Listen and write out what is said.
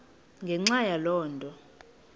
ngenxa yaloo nto